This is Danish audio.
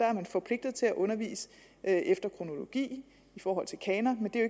er forpligtet til at undervise efter kronologi i forhold til kanon men det er